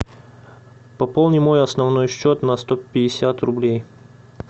пополни мой основной счет на сто пятьдесят рублей